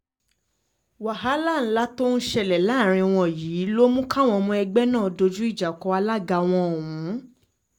wàhálà ńlá tó ń ṣẹlẹ̀ láàrín wọn yìí ló mú káwọn ọmọ ẹgbẹ́ náà dojú ìjà kọ alága wọn ọ̀hún